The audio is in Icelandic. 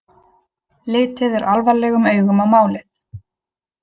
Litið er alvarlegum augum á málið